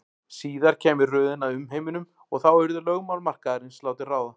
Síðar kæmi röðin að umheiminum og þá yrðu lögmál markaðarins látin ráða.